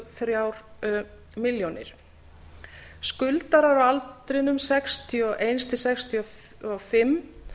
þrjár milljónir króna skuldarar á aldrinum sextíu og eitt til sextíu og fimm